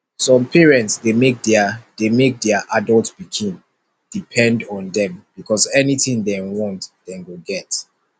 some parents de make their de make their adult pikin depend on them because anything dem want dem go get